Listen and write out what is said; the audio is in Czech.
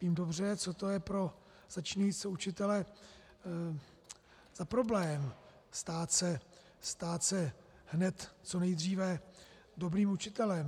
Vím dobře, co to je pro začínajícího učitele za problém, stát se hned, co nejdříve, dobrým učitelem.